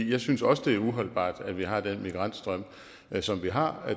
jeg synes også det er uholdbart at vi har den migrantstrøm som vi har